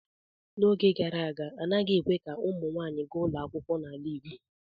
N'oge gara aga anaghị ekwe ka ụmụ nwanyị gaa ụlọ akwụkwọ n'ala igbo.